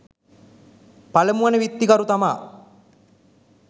පළමු වන විත්තිකරු තමා